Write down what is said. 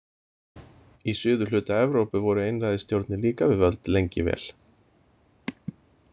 Í suðurhluta Evrópu voru einræðisstjórnir líka við völd lengi vel.